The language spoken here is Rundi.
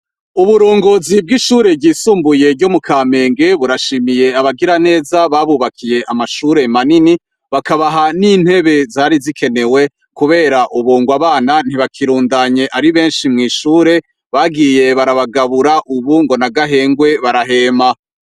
Uburongozi bw'ishuri ryisumbuye ryo mu Kamenge burashimiye abagiraneza babubakiye amashuri manini bakabaha n'intebe zari zikenewe kubera ngubu abana ntibakirundanye ari beshi mw'ishuri bagiye barabagabura ubu ngo n'agahengwe barahema.